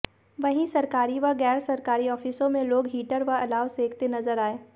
वहीं सरकारी व गैर सरकारी आफिसों में लोग हीटर व अलाव सेंकते नजर आए